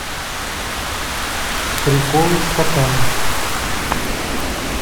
приколы с котами